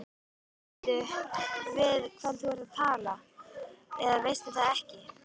Veistu við hvern þú talar eða veistu það ekki.